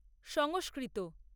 সংস্কৃত